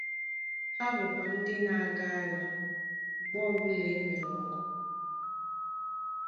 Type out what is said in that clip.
Ha bụkwa ndị na-aga agha mgbe ọbụla e nwere ọgụ.